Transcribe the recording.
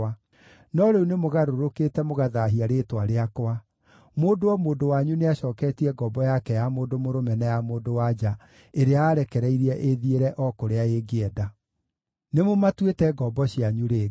No rĩu nĩmũgarũrũkĩte mũgathaahia rĩĩtwa rĩakwa; mũndũ o mũndũ wanyu nĩacooketie ngombo yake ya mũndũ mũrũme na ya mũndũ-wa-nja ĩrĩa ararekereirie ĩĩthiĩre o kũrĩa ĩngĩenda. Nĩmũmatuĩte ngombo cianyu rĩngĩ.